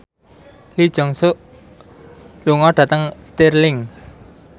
Lee Jeong Suk lunga dhateng Stirling